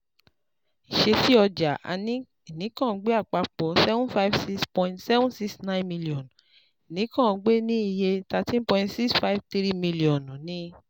Ìṣesí ọjà ìnìkàngbé Àpapọ seven five six point seven six nine mílíọ̀nù ìnìkàngbé ní iye thirteen point six five three mílíọ̀nù ni